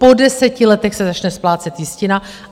Po deseti letech se začne splácet jistina.